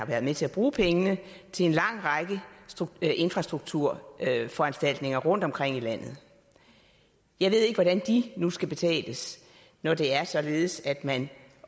været med til at bruge pengene til en lang række infrastrukturforanstaltninger rundtomkring i landet jeg ved ikke hvordan de nu skal betales når det er således at man